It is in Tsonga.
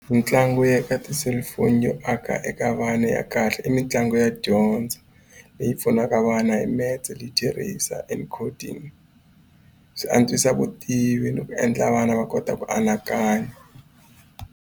Mitlangu ya eka ti-cellphone yo aka eka vana ya kahle i mitlangu ya dyondzo leyi pfunaka vana hi metse literacy and coding swi antswisa vutivi ni ku endla vana va kota ku anakanya.